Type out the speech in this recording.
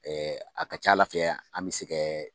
a ka c'Ala fɛ yan an mɛ se kɛ